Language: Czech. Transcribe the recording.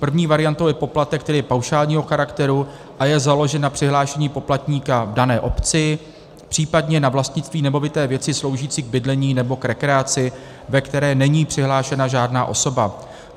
První variantou je poplatek, který je paušálního charakteru a je založen na přihlášení poplatníka v dané obci, případně na vlastnictví nemovité věci sloužící k bydlení nebo k rekreaci, ve které není přihlášena žádná osoba.